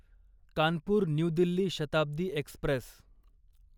Kanpur new Delhi Shatabdi Express